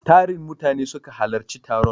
Tarin mutane ne suka halarci taron.